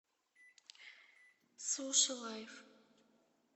суши лайф